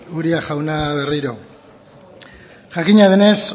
uria jauna berriro jakina denez